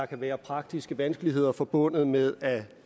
kan være praktiske vanskeligheder forbundet med at